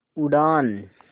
उड़ान